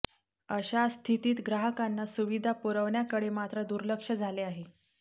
अशा स्थितीत ग्राहकांना सुविधा पुरवण्याकडे मात्र दुर्लक्ष झाले आहे